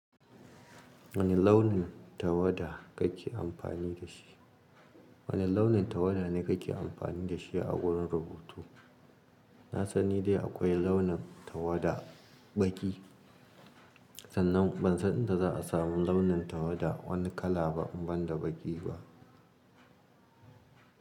Wane launin tawada kake amfani da shi? Wane launin tawada ne kake amfani da shi a wurin rubutu? Na san nidai akwai launin tawada baki. Sannan ban san inda za a samu launin tawada wani kala ba banda baki ba.